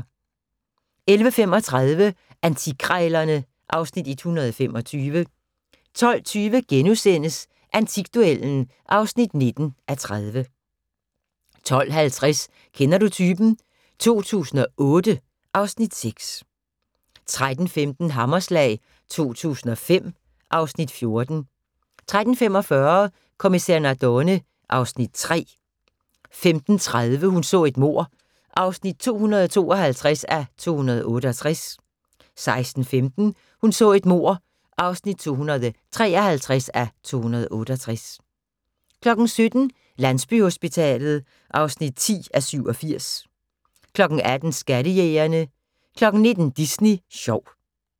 11:35: Antikkrejlerne (Afs. 125) 12:20: Antikduellen (19:30)* 12:50: Kender du typen? 2008 (Afs. 6) 13:15: Hammerslag 2005 (Afs. 14) 13:45: Kommissær Nardone (Afs. 3) 15:30: Hun så et mord (252:268) 16:15: Hun så et mord (253:268) 17:00: Landsbyhospitalet (10:87) 18:00: Skattejægerne 19:00: Disney sjov